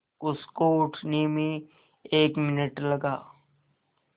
उसको उठने में एक मिनट लगा